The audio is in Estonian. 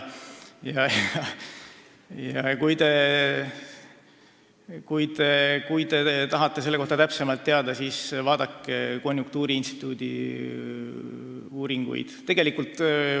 Kui te tahate selle kohta täpsemalt teada, siis vaadake konjunktuuriinstituudi uuringute tulemusi.